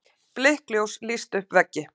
Blikkljós lýstu upp veggi.